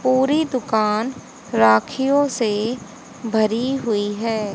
पूरी दुकान राखियों से भरी हुई है।